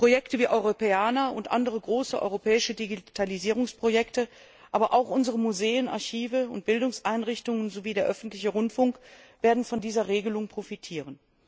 Projekte wie Europeana und andere große europäische Digitalisierungsprojekte, aber auch unsere Museen, Archive und Bildungseinrichtungen sowie der öffentliche Rundfunk werden von dieser Regelung profitieren.